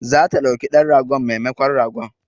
Za ta ɗauki dan ragon memakon ragon